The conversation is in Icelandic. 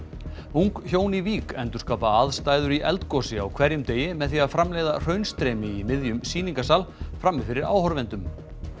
ung hjón í Vík endurskapa aðstæður í eldgosi á hverjum degi með því að framleiða hraunstreymi í miðjum sýningarsal frammi fyrir áhorfendum